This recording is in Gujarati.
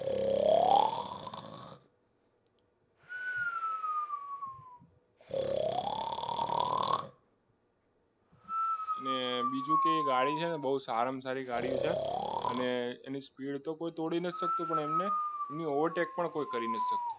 અને બીજું કે ગાડી છે ને બહુ સારામાં સારી ગાડી છે અને એની સ્પીડ તો કોઈ તોડી ના શકતો પણ એની ઓવર સ્ટેપ પણ કોઈ કરી નથી શકતો